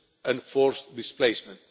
and forced displacement.